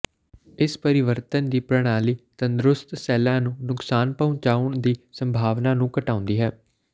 ਇਸ ਪਰਿਵਰਤਨ ਦੀ ਪ੍ਰਣਾਲੀ ਤੰਦਰੁਸਤ ਸੈੱਲਾਂ ਨੂੰ ਨੁਕਸਾਨ ਪਹੁੰਚਾਉਣ ਦੀ ਸੰਭਾਵਨਾ ਨੂੰ ਘਟਾਉਂਦੀ ਹੈ